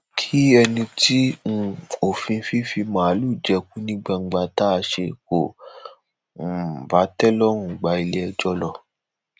kí ẹni tí um òfin fífì màálùú jẹko ní gbangba tá a ṣe kò um bá tẹ lọrùn gba iléẹjọ lọ